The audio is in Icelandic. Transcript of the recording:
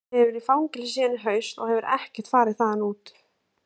Hann hefur verið í fangelsi síðan í haust og ekkert farið þaðan út.